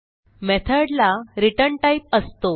method ला return type असतो